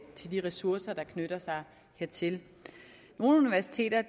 til de ressourcer der knytter sig hertil nogle universiteter